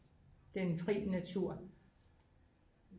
den fri natur